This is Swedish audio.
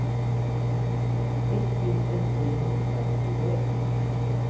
etttusen trehundratjugoett